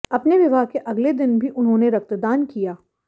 अपने विवाह के अगले दिन भी उन्होंने रक्तदान किया